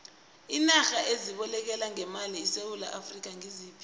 iinarha ezibolekana ngemali nesewula afrika ngiziphi